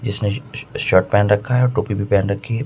इसने श शर्ट पहन रखा है और टोपी भी पहन रखी है।